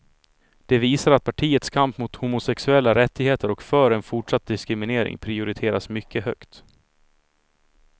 Det visar att partiets kamp mot homosexuella rättigheter och för en fortsatt diskriminering prioriteras mycket högt.